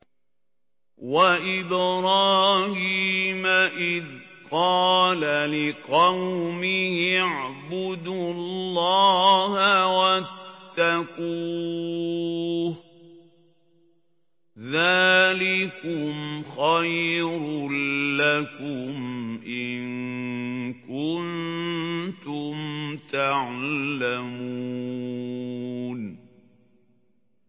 وَإِبْرَاهِيمَ إِذْ قَالَ لِقَوْمِهِ اعْبُدُوا اللَّهَ وَاتَّقُوهُ ۖ ذَٰلِكُمْ خَيْرٌ لَّكُمْ إِن كُنتُمْ تَعْلَمُونَ